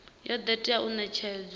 ya do tea u netshedzwa